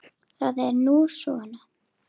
Það er nú svona.